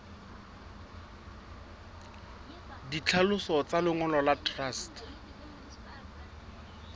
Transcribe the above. ditlhaloso tsa lengolo la truste